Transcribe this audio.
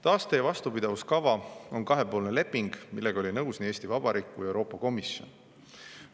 Taaste- ja vastupidavuskava on kahepoolne leping, millega oli nõus nii Eesti Vabariik kui ka Euroopa Komisjon.